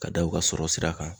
Ka da u ka sɔrɔ sira kan.